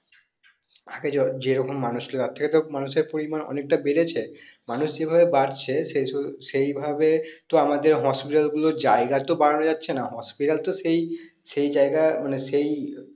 আগে যেরকম মানুষ তার থেকে তো মানুষের পরিমান অনেক বেরেছে মানুষ যে ভাবে বাড়ছে সেই ভাবে তো আমাদের hospital গুলোর জায়গা তো বাড়ানো যাচ্ছেনা hospital তো সেই সেই জায়গা মানে সেই